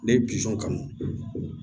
Ne ye kanu